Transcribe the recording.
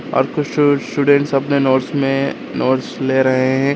और कुछ स्टूडेंट्स अपने नोट्स में नोट्स ले रहे हैं।